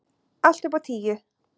Allt upp á tíu.